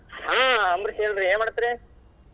ಹ್ಮ ಅಂಬರೀಶ್ ಹೇಳ್ರಿ ಏನ್ ಮಾಡಾತೀರಿ?